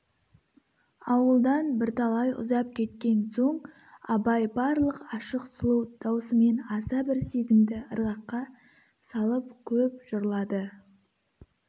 ауылдан бірталай ұзап кеткен соң абай барлық ашық сұлу даусымен аса бір сезімді ырғаққа салып көп жырлады